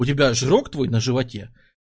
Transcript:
у тебя жирок твой на животе